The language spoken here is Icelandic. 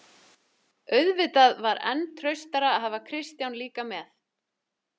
Auðvitað var enn traustara að hafa Kristján líka með.